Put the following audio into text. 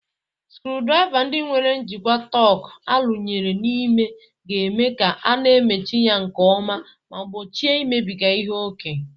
sucurudriva ndi nwere njikwa torque arụnyere n'ime ga-eme ka a na-emechi ya nke ọma ma gbochie imebiga ihe ókè